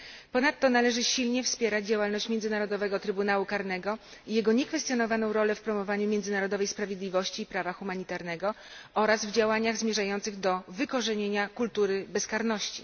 Ponadto należy zdecydowanie wspierać działalność Międzynarodowego Trybunału Karnego i jego niekwestionowaną rolę w promowaniu międzynarodowej sprawiedliwości i prawa humanitarnego oraz w działaniach zmierzających do wykorzenienia kultury bezkarności.